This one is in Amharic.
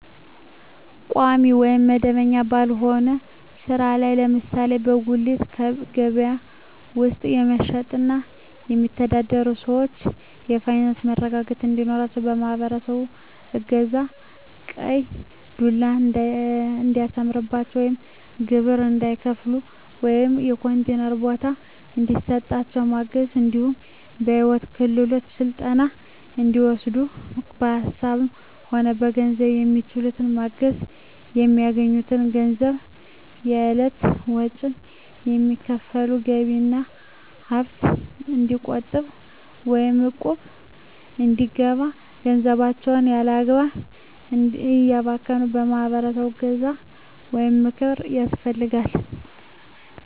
ቋሚ ወይም መደበኛ ባልሆነ ስራ ላይ ለምሳሌ በጉሌት ከበያ ውስጥ በመሸትጥ የሚተዳደሩትን ሰዎች የፋይናንስ መረጋጋት እንዲኖራቸው የማህበረሰቡ እገዛ ቀይ ዱላ እንዳያስነሳቸው ወይም ግብር እንዳይከፍሉ ወይም የኮንቲነር ቦታ እንዲሰጣቸው ማገዝ እንዲሁም የሂወት ክሄሎት ስልጠና እንዲወስዱ በሀሳብም ሆነ በገንዘብ በሚችሉት ማገዝ፣ በሚያገኙት ገንዘብ ከእለት ወጭዎች የሚተርፋቸውን ገቢ ወይም ሀብት እንዲቆጥቡ ወይም እቁብ እንዲገቡ ገንዘባቸውን ያላግባብ እንዳያባክኑ የማህበረሰቡ እገዛ ወይም ምክር ያስፈልጋል።